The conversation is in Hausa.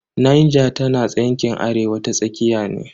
Niger tana yankin arewa ta tsakiya ne.